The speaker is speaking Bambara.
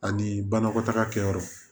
Ani banakɔtaga kɛyɔrɔ